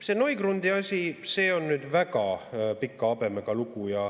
See Neugrundi asi on nüüd väga pika habemega lugu.